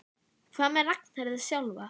Hvað með Ragnheiði sjálfa?